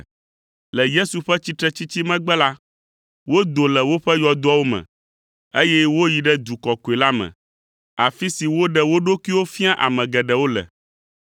Le Yesu ƒe tsitretsitsi megbe la, wodo le woƒe yɔdoawo me, eye woyi ɖe du kɔkɔe la me, afi si woɖe wo ɖokuiwo fia ame geɖewo le.